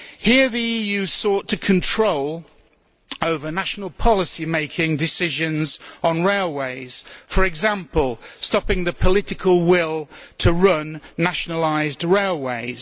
Here the EU sought control over national policy making decisions on railways for example, stopping the political will to run nationalised railways.